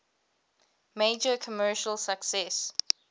major commercial success